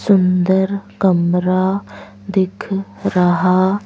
सुंदर कमरा दिख रहा।